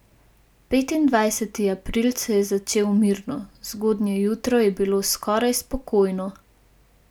Petindvajseti april se je začel mirno, zgodnje jutro je bilo skoraj spokojno.